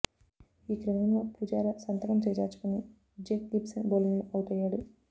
ఈ క్రమంలో పుజారా శతకం చేజార్చుకొని జేక్ గిబ్సన్ బౌలింగ్లో ఔటయ్యాడు